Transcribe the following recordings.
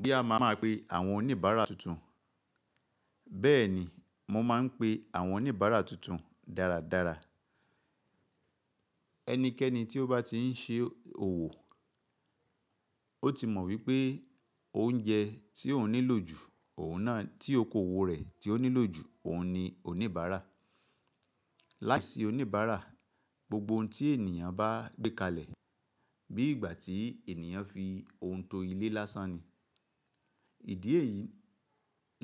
Bóyá má má pe àwọn oníbàárà tuntun. Bẹ́ẹ̀ni, mo máa ń pe àwọn oníbàárà tuntun dáradára. Ẹnikẹ́ni tí ó bá ti ń ṣe òwò, ó ti mọ̀ wípé oúnjẹ tí òun nílò jù, òun náà tí okoòwò rẹ̀ tí ó nílò jù, òun ni oníbàárà. Láìsí oníbàárà, gbogbo ohun tí ènìyàn bá gbé kalẹ̀, bí ìgbà tí ènìyàn fi ohun to ilé lásán ni. Ìdí èyí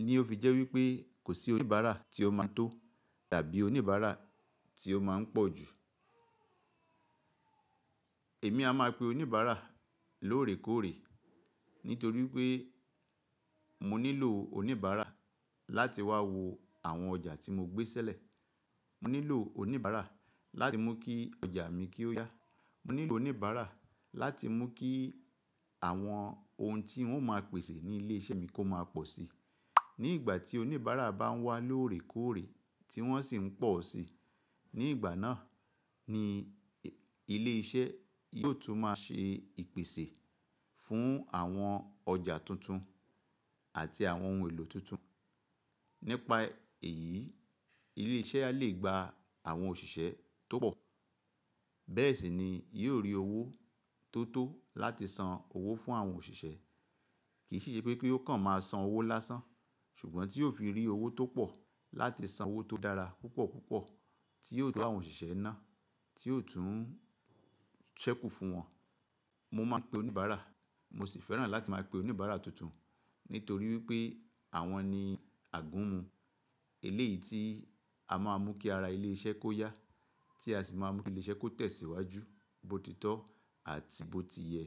ni ó fi jẹ́ wípé kò sí oníbàárà tí ó máa tó tàbí oníbàárà tí ó máa ń pọ̀ jù. Èmi a máa pe oníbàárà lóòrèkóòrè, nítorí pé mo nílò oníbàárà láti wá wo àwọn ọjà tí mo gbé ṣẹlẹ̀. Mo nílò oníbàárà láti mú kí ọjà mi kí ó yá. Mo nílò oníbàárà láti mú kí àwọn ohun tí wọ́n ó máa pèsè ní ilé iṣẹ́ mi kó máa pọ̀ sí. Ní ìgbà tí oníbàárà bá ń wá lóòrèkóòrè tí wọ́n sì ń pọ̀ si. Ní ìgbà náà ni ilé iṣẹ́ yóò tún máa ṣe ìpèsè fún àwọn ọjà tuntun àti àwọn ohun èlò tuntun. Nípa èyí, ilé iṣẹ́ á lè gba àwọn òṣìṣẹ́ tó pọ̀. Bẹ́ẹ̀ sì ni yóò rí owó tó tó láti san owó fún àwọn òṣìṣẹ́. Kìí ṣe pé kí ó kàn máa san owó lásán, ṣùgbọ́n tí yóò fi rí owó tó pọ̀ láti san owó tó dára púpọ̀ púpọ̀ tí yóò tó àwọn òṣìṣẹ́ náà, tí yóò tún ṣẹ́kù fún wọn. Mo máa ń pe oníbàárà, mo sì fẹ́ràn láti máa pe oníbàárà tuntun. Nítorí wípé àwọn ni àgúnmu, èlé yìí tí a máa ń mú kí ara ilé iṣẹ́ kó yá, tí a sì máa ń mú kí ilé iṣẹ́ kó tẹ̀síwájú, bó ti tọ́ àti bó ti yẹ.